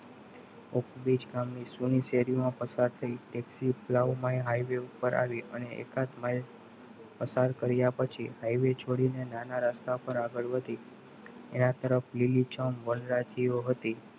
હું બીજ કામની ગામની શેરીમાં પસાર થઈ ઓમાં તે highway ઉપર આવી અને એકાદ પસાર કર્યા પછી એવી છોરીને નાના રસ્તા ઉપર પણ હતી એના તરફ લીલીછમ વનરાજીઓ હતી.